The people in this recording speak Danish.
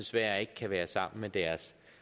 desværre ikke kan være sammen med deres